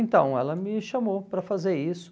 Então, ela me chamou para fazer isso.